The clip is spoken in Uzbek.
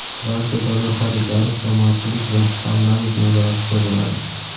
barcha davlat xaridlari jamoatchilik va Parlament nazoratida bo‘ladi.